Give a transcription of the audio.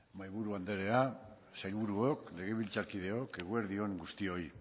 mahaiburu andrea sailburuok legebiltzarkideok eguerdi on guztioi